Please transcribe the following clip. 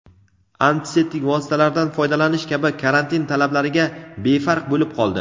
antiseptik vositalardan foydalanish kabi karantin talablariga befarq bo‘lib qoldi.